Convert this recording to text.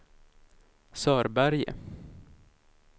Sörberge